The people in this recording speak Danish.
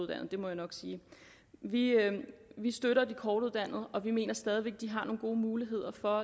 det må jeg nok sige vi vi støtter de kortuddannede og vi mener stadig væk at de har nogle gode muligheder for